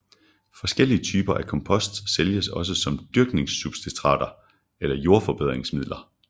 Forskellige typer af kompost sælges også som dyrkningssubstrater eller jordforbedringsmidler